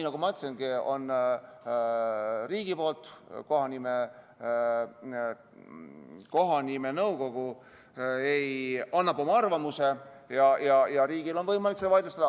Nagu ma ütlesin, kohanimenõukogu annab oma arvamuse ja riigil on võimalik vaidlustada.